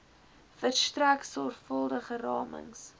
verstrek sorgvuldige ramings